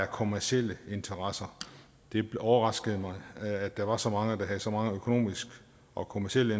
kommercielle interesser det overraskede mig at der var så mange der havde så mange økonomiske og kommercielle